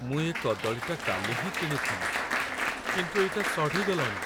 ମୁଁ ଏ କଦଳୀଟା କାଲି ହିଁ କିଣିଥିଲି, କିନ୍ତୁ ଏଇଟା ସଢ଼ିଗଲାଣି ।